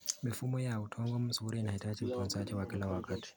Mifumo ya udongo mzuri inahitaji utunzaji wa kila wakati.